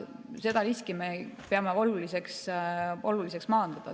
Seda riski me peame oluliseks maandada.